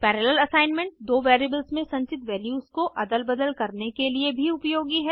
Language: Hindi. पैरालेल असाइनमेंट दो वेरिएबल्स में संचित वैल्यूज को अदल बदल करने के लिए भी उपयोगी है